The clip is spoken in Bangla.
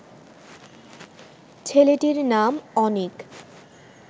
ছেলেটির নাম অনিক